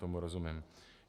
Tomu rozumím.